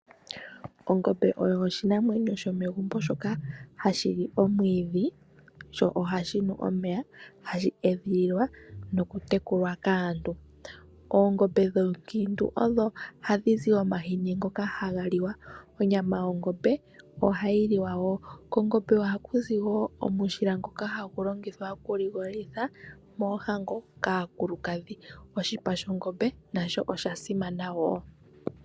Ongombe oyo oshinamwenyo sho megumbo shoka hashi li omwiidhi sho ohashi nu omeya, hashi edhililwa noku tekulwa kaantu. Oongombe dhoonkiintu odho hadhi zi omahini ngoka haga liwa. Onyama yOngombe ohayi liwa wo. Kongombe oha kuzi wo omushila ngoka hagu longithwa oku ligolitha moohango kaakulukadhi. Oshipa shOngombe nasho osha simana woo.